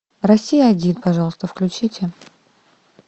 россия один пожалуйста включите